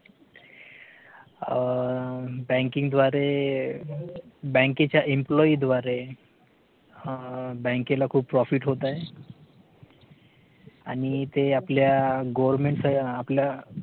banking द्वारे बँकेच्या employee द्वारे बँकेला खूप profit होत आहे आणि ते आपल्या government ते आपल्या